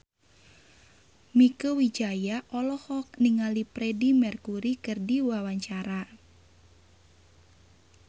Mieke Wijaya olohok ningali Freedie Mercury keur diwawancara